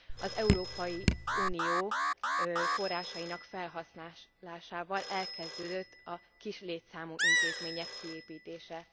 Az Európai Unió forrásainak felhasználásával elkezdődött a kis létszámú intézmények kiépítése.